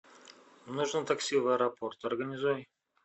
нужно такси в аэропорт организуй